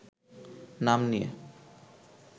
নাম নিয়ে